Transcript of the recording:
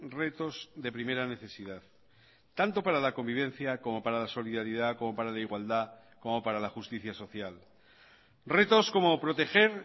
retos de primera necesidad tanto para la convivencia como para la solidaridad como para la igualdad como para la justicia social retos como proteger